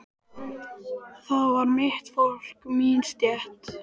Það var mitt fólk, mín stétt.